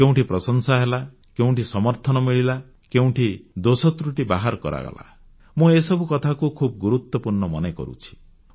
କେଉଁଠି ପ୍ରଶଂସା ହେଲା କେଉଁଠି ସମର୍ଥନ ମିଳିଲା କେଉଁଠି ଦୋଷତ୍ରୁଟି ବାହାର କରାଗଲା ମୁଁ ଏସବୁ କଥାକୁ ଖୁବ ଗୁରୁତ୍ୱପୂର୍ଣ୍ଣ ମନେ କରୁଛି